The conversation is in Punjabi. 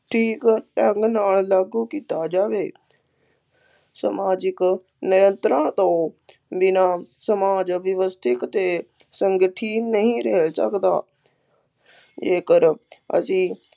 ਠੀਕ ਢੰਗ ਨਾਲ ਲਾਗੂ ਕੀਤਾ ਜਾਵੇ ਸਮਾਜਿਕ ਨਿਯੰਤਰਣ ਤੋਂ ਬਿਨਾ ਸਮਾਜ ਵਿਵਸਥਿਤ ਅਤੇ ਸੰਗਠਿਤ ਨਹੀਂ ਰਹਿ ਸਕਦਾ ਜੇਕਰ ਅਸੀਂ